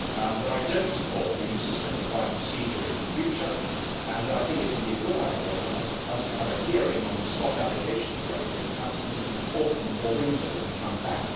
But I do not support the use of simplified procedure in the future and I think it would be a good idea for us to have a hearing on the Slot Allocation Directive, perhaps in the autumn or winter when we come back.